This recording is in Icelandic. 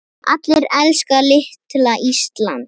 Allir elska litla Ísland.